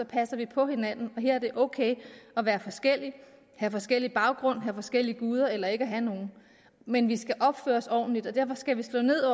passer vi på hinanden og her er det ok at være forskellige have forskellig baggrund have forskellige guder eller ikke have nogen men vi skal opføre os ordentligt og derfor skal vi slå ned